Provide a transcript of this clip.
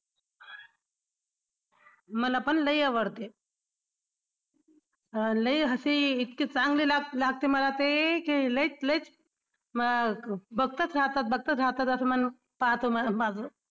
मलापण लई आवडते. अं लई हसी इतकी चांगली लागते मला ते की लईच लईच